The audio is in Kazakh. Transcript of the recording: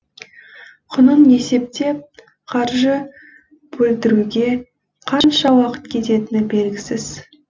құнын есептеп қаржы бөлдіруге қанша уақыт кететіні белгісіз